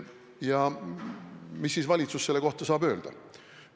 Ja mida siis valitsus selle kohta saab öelda?